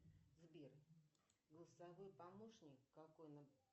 сбер голосовой помощник какой